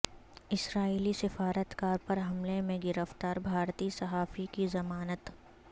اسرائیلی سفارت کار پر حملے میں گرفتار بھارتی صحافی کی ضمانت